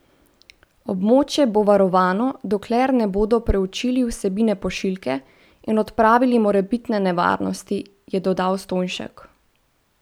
Območje bo varovano, dokler ne bodo preučili vsebine pošiljke in odpravili morebitne nevarnosti, je dodal Stojnšek.